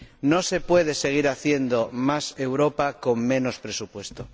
No se puede seguir haciendo más Europa con menos presupuesto